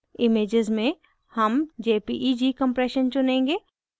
images में हम jpeg compression चुनेंगे